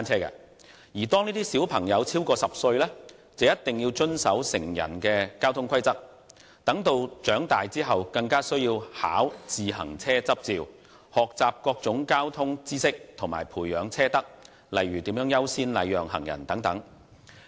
而當兒童超過10歲便必須遵守成人的交通規則，待長大後更需要考取單車執照，學習各種交通知識，以及培養車德，例如優先禮讓行人等。